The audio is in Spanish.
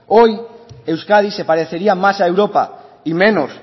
hoy euskadi se parecería más a europa y menos